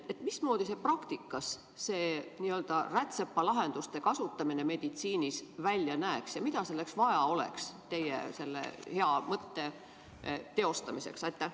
Mismoodi praktikas see rätsepalahenduste kasutamine meditsiinis välja näeks ja mida oleks vaja selle teie hea mõtte teostamiseks?